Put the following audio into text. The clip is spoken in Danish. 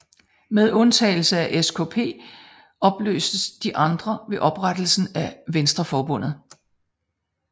Med undtagelse af SKP opløstes de andre ved oprettelsen af Venstreforbundet